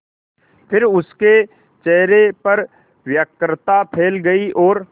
फिर उसके चेहरे पर व्यग्रता फैल गई और